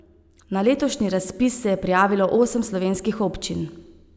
Na letošnji razpis se je prijavilo osem slovenskih občin.